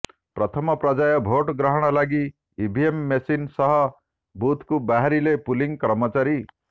ପ୍ରଥମ ପର୍ଯ୍ୟାୟ ଭୋଟ୍ ଗ୍ରହଣ ଲାଗି ଇଭିଏମ୍ ମେସିନ ସହ ବୁଥକୁ ବାହାରିଲେ ପୁଲିଂ କର୍ମଚାରୀ